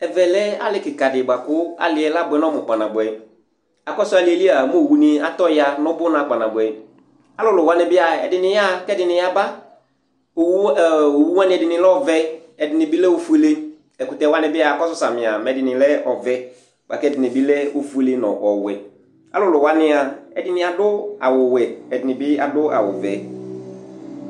Ɛvɛlɛ alì kìka ɖi bʋakʋ alìɛ abʋɛ ŋu ɔmu kpa nabʋɛ Akɔsu alìɛ lia mɛ owu ni atɔya ŋu ʋbʋna kpa nabʋɛ Alulu waŋi bi'a ɛɖìní yaha kʋ ɛɖìní bi yaba Owu waŋi ɛɖìní lɛ ɔvɛ Ɛɖìní bi lɛ ɔfʋele Ɛkutɛ waŋi bi mʋ akɔsu samì mɛ ɛɖìní lɛ ɔvɛ bʋakʋ ɛɖìní bi lɛ ɔfʋele ŋu ɔwɛ Ɔlʋlu waŋi'a ɛɖìní aɖu awu wɛ Ɛɖìní bi aɖu vɛ